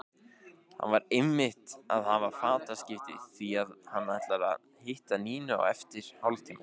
Hann var einmitt að hafa fataskipti því að hann ætlar að hitta Nínu eftir hálftíma.